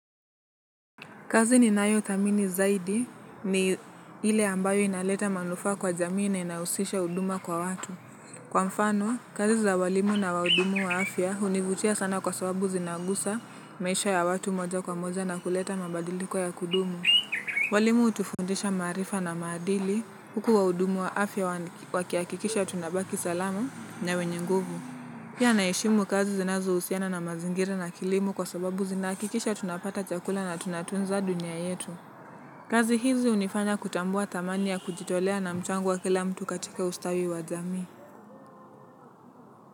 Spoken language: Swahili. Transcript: Kazi ninayothamini zaidi ni ile ambayo inaleta manufaa kwa jamii na inahusisha huduma kwa watu. Kwa mfano, kazi za walimu na wahudumu wa afya hunivutia sana kwa sababu zinagusa maisha ya watu moja kwa moja na kuleta mabadiliko ya kudumu. Walimu hutufundisha maarifa na maadili huku wahudumu wa afya wakihakikisha tunabaki salama na wenye nguvu. Pia naheshimu kazi zinazohusiana na mazingira na kilimo kwa sababu zinahakikisha tunapata chakula na tunatunza dunia yetu. Kazi hizi hunifanya kutambua thamani ya kujitolea na mchango wa kila mtu katika ustawi wa jamii.